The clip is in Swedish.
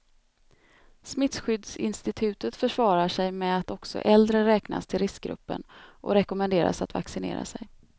Smittskyddsinstitutet försvarar sig med att också äldre räknas till riskgruppen och rekommenderas att vaccinera sig.